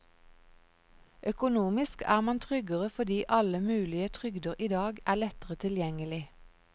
Økonomisk er man tryggere fordi alle mulige trygder i dag er lettere tilgjengelig.